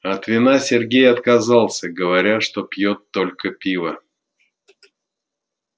от вина сергей отказался говоря что пьёт только пиво